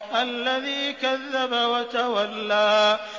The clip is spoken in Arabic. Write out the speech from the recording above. الَّذِي كَذَّبَ وَتَوَلَّىٰ